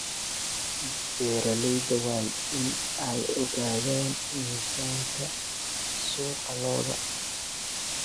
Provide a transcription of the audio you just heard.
Beeralayda waa in ay ogaadaan miisaanka suuqa ee lo'da.